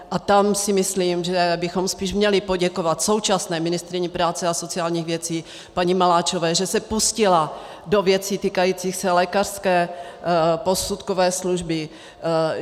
A tak si myslím, že bychom spíš měli poděkovat současné ministryni práce a sociálních věcí paní Maláčové, že se pustila do věcí týkajících se lékařské posudkové služby.